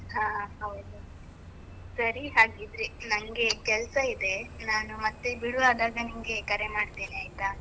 ಹ ಹೌದು, ಸರಿ ಹಾಗಿದ್ರೆ ನಂಗೆ ಕೆಲ್ಸ ಇದೆ ನಾನು ಮತ್ತೆ ಬಿಡುವಾದಾಗ ನಿಮ್ಗೆ ಕರೆ ಮಾಡ್ತೇನೆ ಆಯ್ತಾ?